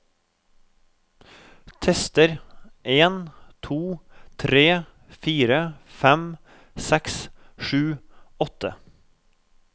Tester en to tre fire fem seks sju åtte